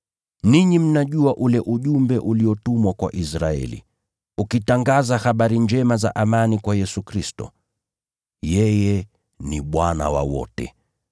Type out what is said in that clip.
Ninyi mnajua ule ujumbe uliotumwa kwa Israeli, ukitangaza habari njema za amani kwa Yesu Kristo. Yeye ni Bwana wa wote.